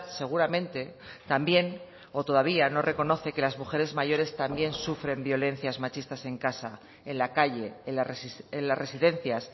seguramente también o todavía no reconoce que las mujeres mayores también sufren violencias machistas en casa en la calle en las residencias